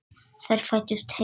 Þær fæddust heima.